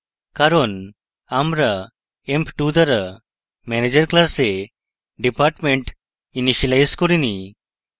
কারণ আমরা emp2 দ্বারা manager class department ইনিসিয়েলাইজ করিনি